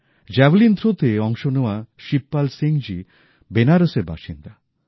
javelin থ্রোতে অংশ নেওয়া শিবপাল সিং জী বেনারসের বাসিন্দা